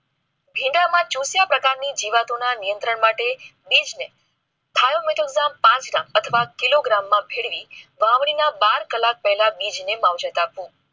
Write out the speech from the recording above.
ભીંડાના જોસીયા પ્રકાર ની જીવાતો ના નિયંત્રણ માટે. બીજને પાઠવા અથવા કિલોગ્રામ માં વાવણી ના બાર કલાક પહેલાં બીજને વવજત આપો